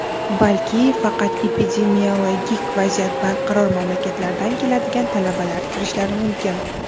balki faqat epidemiologik vaziyat barqaror mamlakatlardan keladigan talabalar kirishlari mumkin.